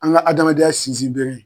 An ka adamadenya sinzin bere ye.